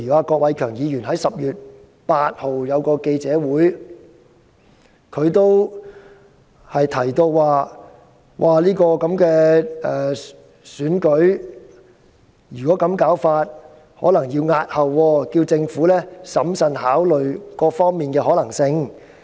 郭偉强議員在10月8日召開記者會，提到情況如果這樣下去便可能要押後選舉，因而請政府審慎考慮各方面的可能性。